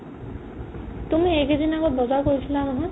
তুমি এইকেইদিন আগত বজাৰ কৰিছিলা নহয় ?